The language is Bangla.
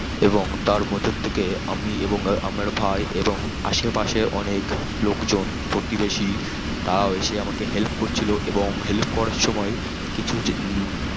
এবং তার ভেতর থেকে আমি এবং আমার ভাই এবং আসে পাসের অনেক লোক জন প্রতিবেশী তারা এসে আমাকে help করছিল এবং help করার সময় কিছু কিছু